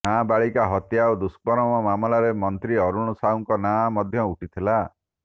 ନାବାଳିକା ହତ୍ୟା ଓ ଦୁଷ୍କର୍ମ ମାମଲାରେ ମନ୍ତ୍ରୀ ଅରୁଣ ସାହୁଙ୍କ ନାଁ ମଧ୍ୟ ଉଠିଥିଲା